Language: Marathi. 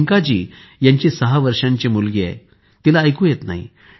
टिंकाजी यांची सहा वर्षांची मुलगी आहे तिला ऐकू येत नाही